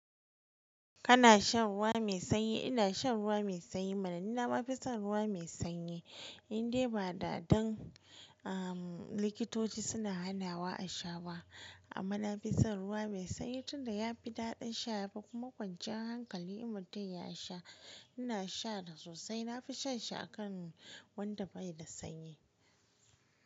Kana shan ruwa mai sanyi? Ina shan ruwa mai sanyi. Amma ni na ma fi son ruwa mai sanyi indai ba da don likitoci suna hanawa a sha ba. Amma na fi son ruwa mai sanyi tunda ya fi daɗin sha yafi kuma kwanciyar hankali mutum ya sha. Ina sha dai sosai. Na fi shan shi a kan wanda bai da sanyi.